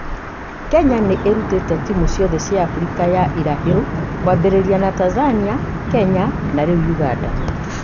Kenya nĩ ĩrutĩte timu ciothe cia Africa ya ĩrahĩrũ kwambĩrĩria na Tanzania, Kenya na rĩu Ũganda.